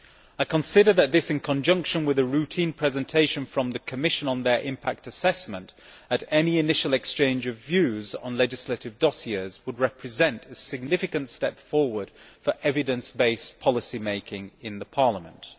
I consider that this, in conjunction with the Commission's routine presentation in their impact assessment at any initial exchange of views on legislative dossiers, would represent a significant step forward for evidence based policy making in Parliament.